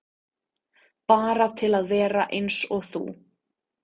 Bara til að vera eins og þú.